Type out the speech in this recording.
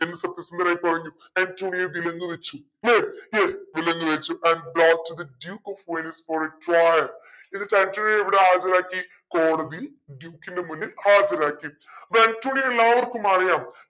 എന്ന് സത്യസന്ധനായി പറഞ്ഞു അന്റോണിയോ വിലങ്ങു വെച്ചു yes yes വിലങ്ങു വെച്ചു എവിടെ ഹാജരാക്കി കോടതിയിൽ ഡ്യൂക്കിന് മുന്നിൽ ഹാജരാക്കി അപ്പോ ആന്റോണിയെ എല്ലാവർക്കും അറിയാം